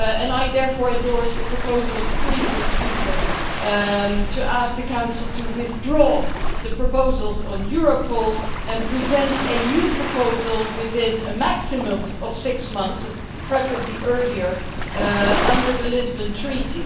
I therefore endorse the proposal made by the previous speaker to ask the Council to withdraw the proposals on Europol and present a new proposal within a maximum of six months and preferably earlier under the Lisbon Treaty.